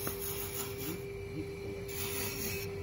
клип диксона